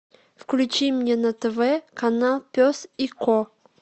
включи мне на тв канал пес и ко